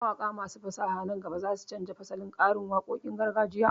Mawaƙa masu fasaha nan gaba za su canja fasalin karin waƙoƙin gargajiya.